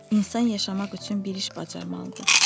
İnsan yaşamaq üçün bir iş bacarmalıdır.